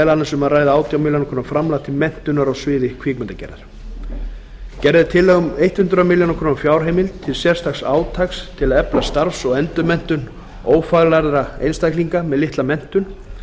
meðal annars um að ræða átján milljónir króna framlag til menntunar á sviði kvikmyndagerðar gerð er tillaga um hundrað milljónir króna fjárheimild til sérstaks átaks til að efla starfs og endurmenntun ófaglærðra einstaklinga með litla menntun